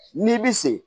N'i bi se